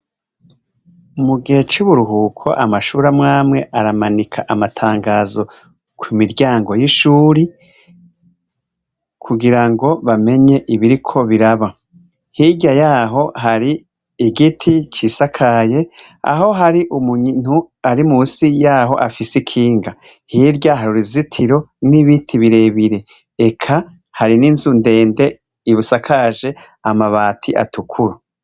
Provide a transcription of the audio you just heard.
Mugihe cuburuhuko amashure amwamwe aramanika amatangazo kumiryango yishure kugirango bamenye ibiriko biraba hirya yaho hari igiti kisakaye aho hari umuntu ari musi yaho afise ikinga hirya hari uruzitiro nibiti birebire eka hari ninzu ndende ibisakaje amabati atukura